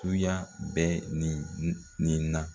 Tuya bɛ nin nin na